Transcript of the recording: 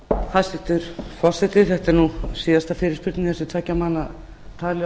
hæstvirtur forseti þetta er síðasta fyrirspurnin eftir tveggja manna tali